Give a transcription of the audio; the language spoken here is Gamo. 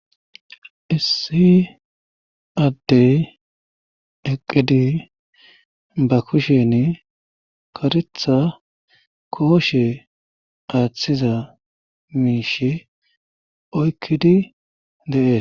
issi addey eqqidi ba kushen karetha kooshe aaththiza miishi oykkidi de'es